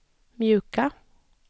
mjuka